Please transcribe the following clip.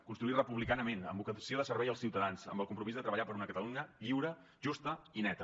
construir republicanament amb vocació de servei als ciutadans amb el compromís de treballar per una catalunya lliure justa i neta